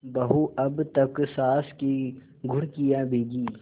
बहू अब तक सास की घुड़कियॉँ भीगी